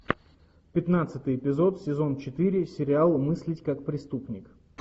пятнадцатый эпизод сезон четыре сериал мыслить как преступник